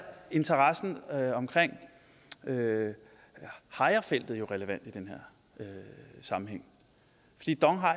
interessen omkring hejrefeltet jo relevant i den her sammenhæng fordi dong